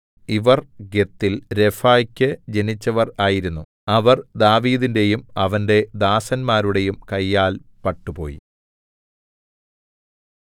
ഇവർ ഗത്തിൽ രഫാക്കു ജനിച്ചവർ ആയിരുന്നു അവർ ദാവീദിന്റെയും അവന്റെ ദാസന്മാരുടെയും കയ്യാൽ പട്ടുപോയി